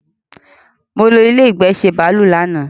Molo ilé ìgbà ńṣe bàálù lánàá